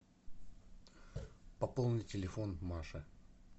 пополни телефон маша